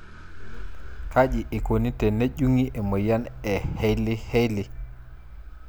Kaji eikoni tenejungi emoyian e Hailey Hailey?